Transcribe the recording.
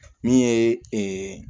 Min ye